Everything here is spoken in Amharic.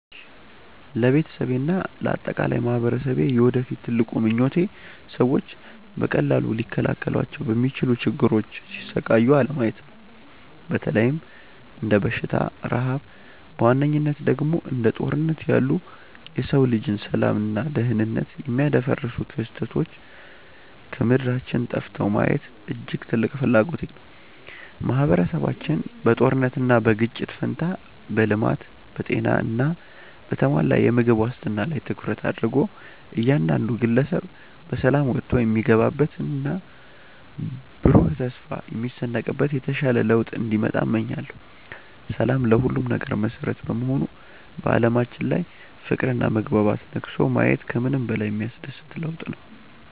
ለቤተሰቤና ለአጠቃላይ ማኅበረሰቤ የወደፊት ትልቁ ምኞቴ ሰዎች በቀላሉ ሊከላከሏቸው በሚችሉ ችግሮች ሲሰቃዩ አለማየት ነው። በተለይም እንደ በሽታ፣ ረሃብ እና በዋነኝነት ደግሞ እንደ ጦርነት ያሉ የሰው ልጅን ሰላምና ደኅንነት የሚያደፈርሱ ክስተቶች ከምድራችን ጠፍተው ማየት እጅግ ትልቅ ፍላጎቴ ነው። ማኅበረሰባችን በጦርነትና በግጭት ፋንታ በልማት፣ በጤና እና በተሟላ የምግብ ዋስትና ላይ ትኩረት አድርጎ እያንዳንዱ ግለሰብ በሰላም ወጥቶ የሚገባበትና ብሩህ ተስፋ የሚሰንቅበት የተሻለ ለውጥ እንዲመጣ እመኛለሁ። ሰላም ለሁሉም ነገር መሠረት በመሆኑ በዓለማችን ላይ ፍቅርና መግባባት ነግሶ ማየት ከምንም በላይ የሚያስደስት ለውጥ ነው።